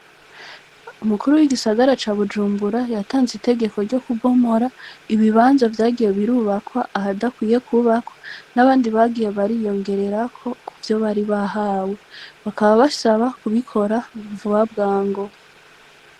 Umukuru w’igisagara ca Bujumbura, yatanze itegeko ryo kubomora ibibanza vyagiye birubakwa ahadakwiye kwubakwa n’abandi bagiye bariyongererako ku vyo baribahawe. Bakaba basaba kubikora vuba bwango.